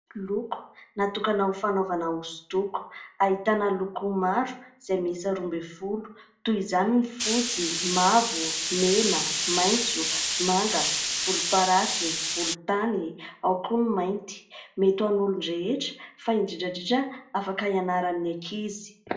Loko natokana ho fanaovana hosodoko ahitana loko maro izay mihisa roa ambiny folo: toy izany ny fotsy, mavo, mena, maitso, manga, volom-parasy, volon-tany, ao koa ny mainty. Mety ho an'ny olon-dehetra fa indindra indrindra afaka hianaran'ny ankizy.